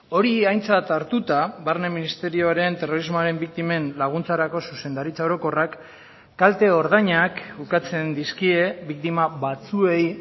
hori aintzat hartuta barne ministerioaren terrorismoaren biktimen laguntzarako zuzendaritza orokorrak kalte ordainak ukatzen dizkie biktima batzuei